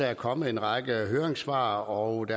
er kommet en række høringssvar og at